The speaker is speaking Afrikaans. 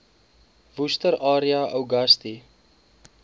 worcester area uagasti